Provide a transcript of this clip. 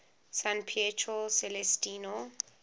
san pietro celestino